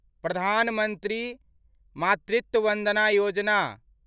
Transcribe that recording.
प्रधान मंत्री मातृत्व वन्दना योजना